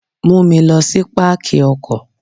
Mú mi lọ sí Pákì ọkọ̀.